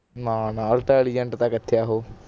ਨਾ ਨਾ intelligent ਤਾਂ ਕਿਥੇ ਹੈ ਓਹੋ